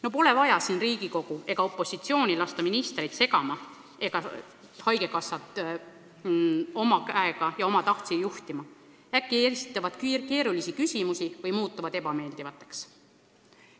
No pole vaja Riigikogu ega opositsiooni lasta ministreid segama ja haigekassat oma käega ja omatahtsi juhtima – äkki esitavad keerulisi küsimusi või muutuvad ebameeldivaks!